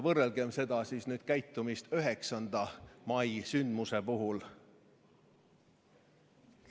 Võrrelgem seda käitumist sellega, kuidas käituti 9. mai sündmuse puhul.